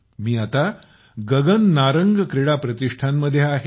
मी आता गगन नारंग प्रतिष्ठान मध्ये आहे